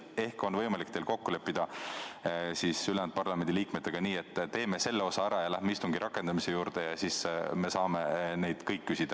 Ehk on võimalik teil kokku leppida ülejäänud parlamendiliikmetega nii, et teeme selle osa ära ja läheme istungi rakendamise juurde, siis me saame kõik küsida.